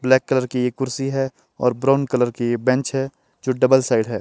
Black colour की कुर्सी है और ब्राउन कलर की बेंच है जो डबल साइड है।